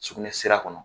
Sugunɛsira kɔnɔ